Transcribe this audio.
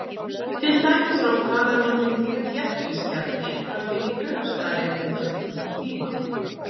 Til dæmis er oft talað um að tiltekinn þéttbýliskjarni hafi fengið kaupstaðarréttindi á tilteknum tíma.